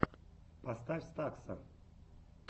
поставь стакса